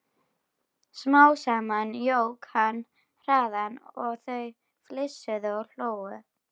Smám saman jók hann hraðann og þau flissuðu og hlógu.